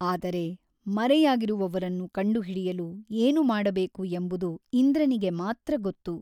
ಆದರೆ ಮರೆಯಾಗಿರುವವರನ್ನು ಕಂಡುಹಿಡಿಯಲು ಏನು ಮಾಡಬೇಕು ಎಂಬುದು ಇಂದ್ರನಿಗೆ ಮಾತ್ರ ಗೊತ್ತು.